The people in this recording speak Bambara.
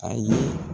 Ayi